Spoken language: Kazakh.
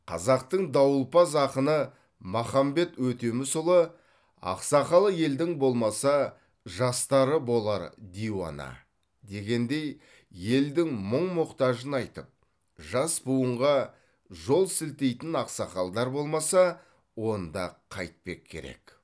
қазақтың дауылпаз ақыны махамбет өтемісұлы ақсақалы елдің болмаса жастары болар диуана дегендей елдің мұң мұқтажын айтып жас буынға жол сілтейтін ақсақалдар болмаса онда қайтпек керек